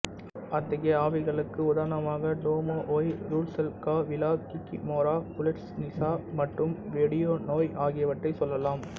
அத்தகைய ஆவிகளுக்கு உதாரணமாக domovoi rusalka vila kikimora poludnitsa மற்றும் வொடியானொய் ஆகியவற்றைச் சொல்லலாம்